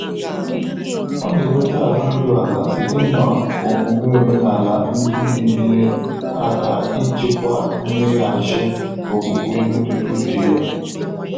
Ọ́ nà-ènwétá áhụ́ íru álá sìté nà ọ́mụ́mé ọ́ménàlà ndị́ nà-ényéré áká ị́chị́kwá mméghàchị́ ókwúkwé mmétụ́tà úchè yá.